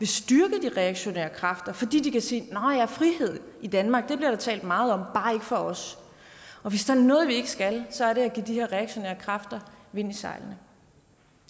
styrke de reaktionære kræfter fordi de kan sige nå ja frihed i danmark bliver der talt meget om bare ikke for os og hvis der er noget vi ikke skal så er det at give de her reaktionære kræfter vind i sejlene